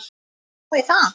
Má ég það?